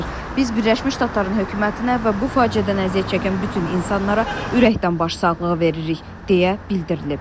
Biz Birləşmiş Ştatların hökumətinə və bu faciədən əziyyət çəkən bütün insanlara ürəkdən başsağlığı veririk, deyə bildirilib.